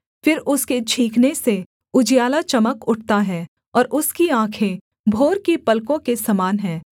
फिर उसके छींकने से उजियाला चमक उठता है और उसकी आँखें भोर की पलकों के समान हैं